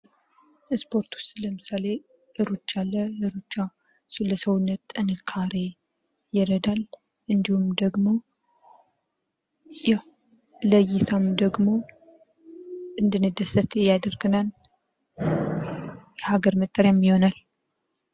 ስፖርት ውስጥ ለምሳሌ ሩጫ ለሰውነታችን ጥንካሬ ይረዳል እንዲሁም ደግሞ ይህ ለእይታም ደግሞ እንድንደሰት ያደርጋናል ለሃገር መጠሪያም ይሆናል።